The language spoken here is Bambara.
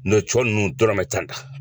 N'ɔ cɔ ninnu dɔrɔmɛ tan tan